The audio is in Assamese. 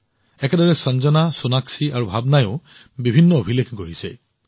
একেদৰে সঞ্জনা সোণাক্ষী আৰু ভাৱনাইও বিভিন্ন অভিলেখ গঢ়িছে